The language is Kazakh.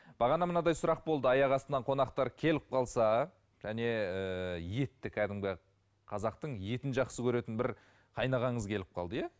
бағана мынандай сұрақ болды аяқ астынан қонақтар келіп қалса және ііі етті кәдімгі қазақтың етін жақсы көретін бір қайнағаңыз келіп қалды иә